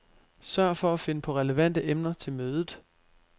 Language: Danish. Sørg for at finde på relevante emner til mødet.